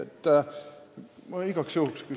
Ma küsin igaks juhuks aega juurde.